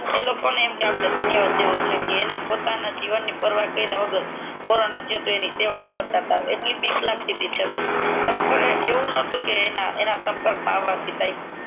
ઈ લોકો ને આપડે ધન્યવાદ કેવો જોઈ ઈ લોકો પોતાની પરવા કાયરા વગર કોરોના થયો હોય એની સેવ કરતાં તા એટલી બીક લગતીતી છતાંય ખરેખર એવું નટુ કે એના સંપર્ક મા આવ વાથી